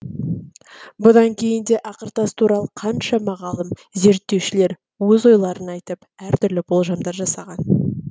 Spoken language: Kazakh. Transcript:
бұдан кейін де ақыртас туралы қаншама ғалым зерттеушілер өз ойларын айтып әртүрлі болжамдар жасаған